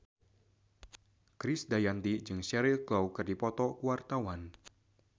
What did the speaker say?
Krisdayanti jeung Cheryl Crow keur dipoto ku wartawan